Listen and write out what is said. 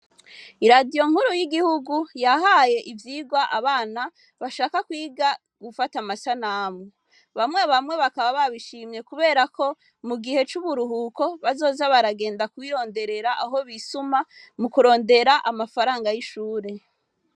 I radiyo nkuru y'igihugu yahaye ivyirwa abana bashaka kwiga gufata amasa namu bamwe bamwe bakaba babishimye kuberako mu gihe c'uburuhuko bazoza baragenda kuwironderera aho bisuma mu kurondera amafaranga y'ishure.